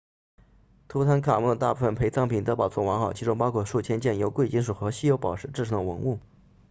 图坦卡蒙的大部分陪葬品都保存完好其中包括数千件由贵金属和稀有宝石制成的文物